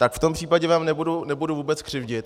Tak v tom případě vám nebudu vůbec křivdit.